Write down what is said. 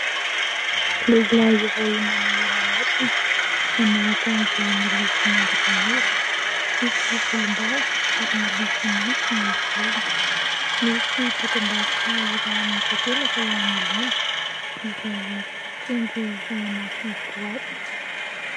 Lehilahy iray manome lamosina, manao akanjo miloko manga tanora, misy volom-bava ary miloko mainty ny volony, misy dokam-barotra iray amin'ny takelaka eo anoloany izay trondro ao anaty boaty.